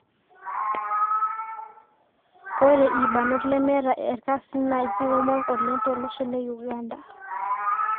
Ore irbanot lemeeta erkasin naa keikumok oleng tolosho le Uganda